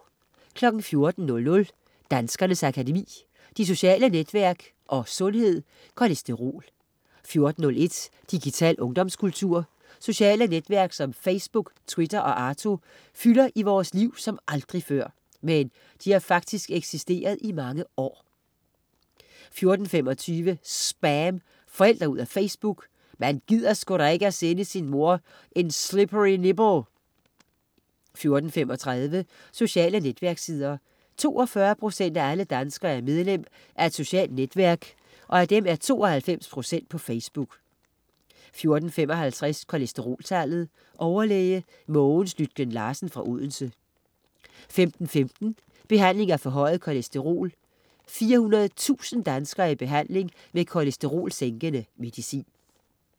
14.00 Danskernes Akademi. De sociale netværk & Sundhed: kolesterol 14.01 Digital ungdomskultur. Sociale netværk som Facebook, Twitter og Arto fylder i vores liv som aldrig før. Men de har faktisk eksisteret i mange år 14.25 SPAM. Forældre ud af Facebook. "Man gider sgu da ikke sende sin mor en slippery nipple!" 14.35 Sociale netværkssider. 42 procent af alle danskere er medlem af et socialt netværk, og af dem er 92 procent på Facebook 14.55 Kolesteroltallet. Overlæge Mogens Lytken-Larsen fra Odense 15.15 Behandling af forhøjet kolesterol. 400.000 danskere er i behandling med kolesterolsænkende medicin